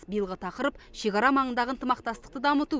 биылғы тақырып шекара маңындағы ынтымақтастықты дамыту